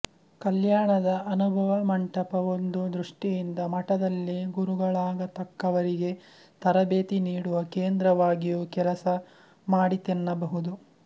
ಕಲ್ಯಾಣದ ಅನುಭವಮಂಟಪ ಒಂದು ದೃಷ್ಟಿಯಿಂದ ಮಠದಲ್ಲಿ ಗುರುಗಳಾಗತಕ್ಕವರಿಗೆ ತರಬೇತಿ ನೀಡುವ ಕೇಂದ್ರವಾಗಿಯೂ ಕೆಲಸ ಮಾಡಿತೆನ್ನಬಹುದು